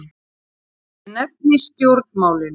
Ég nefni stjórnmálin.